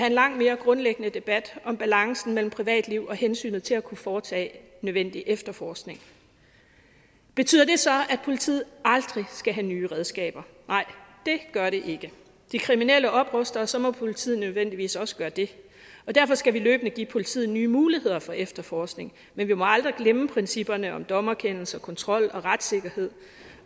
en langt mere grundlæggende debat om balancen mellem privatliv og hensynet til at kunne foretage nødvendig efterforskning betyder det så at politiet aldrig skal have nye redskaber nej det gør det ikke de kriminelle opruster og så må politiet nødvendigvis også gøre det og derfor skal vi løbende give politiet nye muligheder for efterforskning men vi må aldrig glemme principperne om dommerkendelse kontrol og retssikkerhed